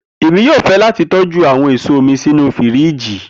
Emi yoo fẹ lati tọju awọn eso mi sinu firiji.